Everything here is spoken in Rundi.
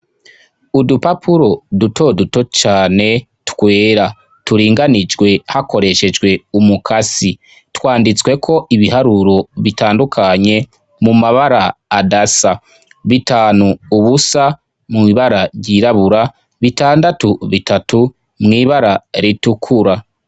Udupapuro dutoduto cane twera turinganijwe hakoreshejwe umukasi twanditsweko ibiharuro bitandukanye mu mabara adasa bitanu ubusa mw'ibara ryirabura bitandatu bitatu mwibara ritukura.